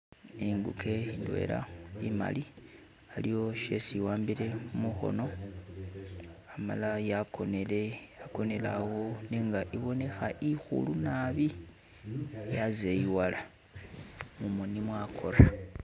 Inguke indwela imali,, aliwo shesi iwambile mukhono amala yakonele, yakonele awo nenga ibonekha ikhulu naabi yazeyiwala, mumoni mwakora. .